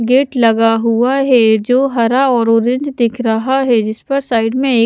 gate लगा हुआ है जो हरा और ऑरेंज दिख रहा है जिस पर साइड में एक--